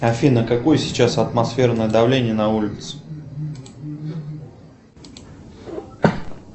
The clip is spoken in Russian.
афина какое сейчас атмосферное давление на улице